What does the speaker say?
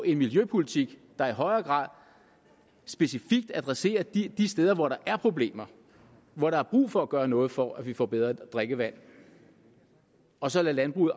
en miljøpolitik der i højere grad specifikt adresserer de steder hvor der er problemer hvor der er brug for at gøre noget for at vi får bedre drikkevand og så lader landbruget